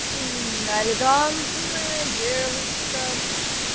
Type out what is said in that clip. элегантная девушка